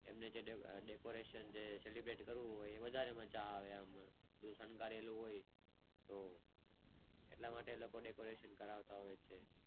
એમને જે Decorate Celebrate કરાવવું હોય તે વધારે મજા આવે જે શણગારેલું હોય લે વધારે મજા આવે તો એટલે માટે લોકો નં decoration કરાવતા હોય છે